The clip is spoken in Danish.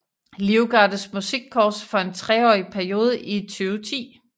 Livgardes Musikkorps for en treårig periode i 2010